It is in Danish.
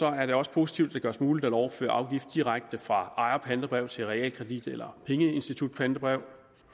er det også positivt at det gøres muligt at overføre afgift direkte fra ejerpantebrev til realkredit eller pengeinstitutpantebrev